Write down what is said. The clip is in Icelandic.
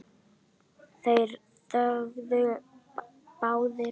Þeir þögðu báðir.